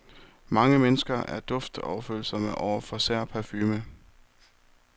Mange mennesker er duftoverfølsomme over for i sær parfume.